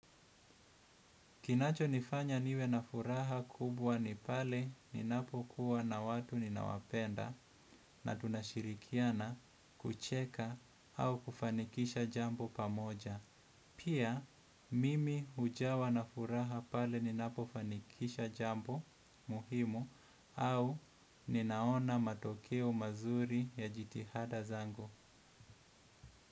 Kinacho nifanya niwe na furaha kubwa ni pale ninapo kuwa na watu ninawapenda na tunashirikiana kucheka au kufanikisha jambo pamoja. Pia mimi hujawa na furaha pale ninapo fanikisha jambo muhimu au ninaona matokeo mazuri ya jitihada zangu.